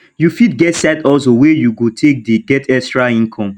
you fit get side hustle wey you go take dey get extra income